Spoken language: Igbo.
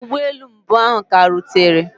Ụgbọ elu mbụ ahụ ka rutere.